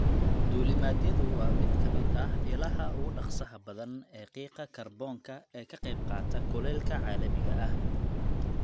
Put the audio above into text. Duulimaadyadu waa mid ka mid ah ilaha ugu dhaqsaha badan ee qiiqa kaarboonka ee ka qayb qaata kulaylka caalamiga ah.